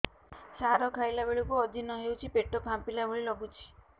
ସାର ଖାଇଲା ବେଳକୁ ଅଜିର୍ଣ ହେଉଛି ପେଟ ଫାମ୍ପିଲା ଭଳି ଲଗୁଛି